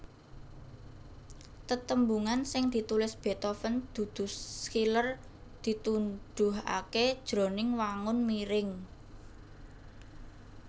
Tetembungan sing ditulis Beethoven dudu Schiller ditunduhaké jroning wangun miring